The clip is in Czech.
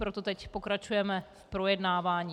Proto teď pokračujeme v projednávání.